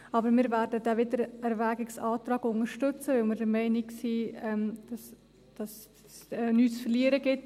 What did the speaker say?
Aber wir werden diesen Wiedererwägungsantrag unterstützen, weil wir der Meinung sind, dass es nichts zu verlieren gibt.